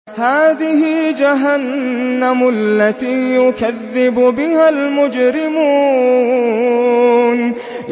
هَٰذِهِ جَهَنَّمُ الَّتِي يُكَذِّبُ بِهَا الْمُجْرِمُونَ